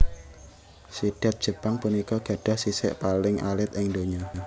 Sidhat Jepang punika gadhah sisik paling alit ing donya